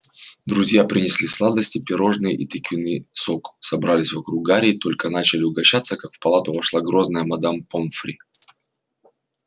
друзья принесли сладости пирожные и тыквенный сок собрались вокруг гарри и только начали угощаться как в палату вошла грозная мадам помфри